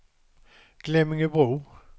Glemmingebro